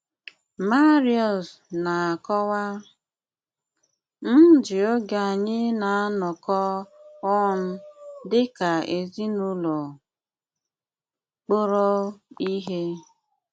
Máriúsz na-ákọ́wá: “ m jí ógé ányị na-ánọkọ́ óún dị́ ká ézínùlọ́ kpụrò íhé.